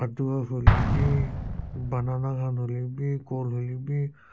adua hoilebi banana khan hoilebi kol hoilebi--